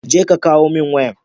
je ka kawo min wayan